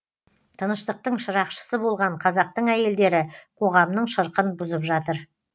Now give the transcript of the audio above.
тыныштықтың шырақшысы болған қазақтың әйелдері қоғамның шырқын бұзып жатыр